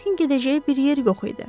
Kriskin gedəcəyi bir yer yox idi.